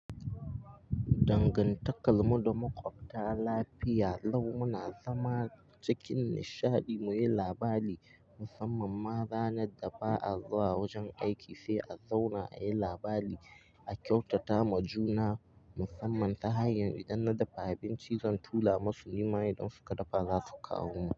Dangantakar mu da maƙwabta lafiya lau muna zama cikin nishadi muyi labari, musamman ma ranar da ba a zuwa wajen aiki sai a zauna a yi labari a kyautata ma juna musamman ta hanyar idan na dafa abinci zan tura masu nima idon suka dafa za su kawo mun.